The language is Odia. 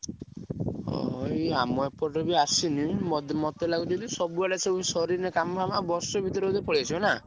ଓହୋ। ଆମ ଏପଟେ ବି ଆସିନି ମତେ ମତେ ଲାଗୁଛି କି ସବୁଆଡେ ସରିନି କାମ ଆଉ ବର୍ଷେ ଭିତରେ ପଳେଇଆସିବ ନାଁ।